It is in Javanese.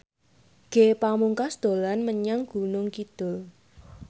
Ge Pamungkas dolan menyang Gunung Kidul